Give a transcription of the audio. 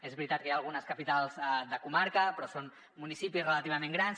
és veritat que hi ha algunes capitals de comarca però són municipis relativament grans